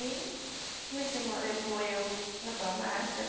Minhas irmã levou eu na farmácia.